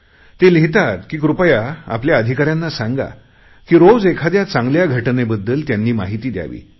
ते लिहीतात की कृपया आपल्या अधिकाऱ्यांना सांगा की रोज एखाद्या चांगल्या घटनेबद्दल त्यांनी माहिती द्यावी